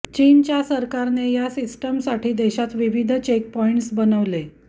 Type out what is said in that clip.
चीनच्या सरकारने या सिस्टमसाठी देशात विविध चेकपॉइंट्स बनवले